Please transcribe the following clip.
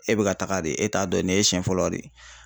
E be ka taga de e t'a dɔn nin ye siɲɛ fɔlɔ de ye.